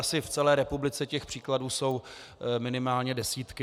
Asi v celé republice těch příkladů jsou minimálně desítky.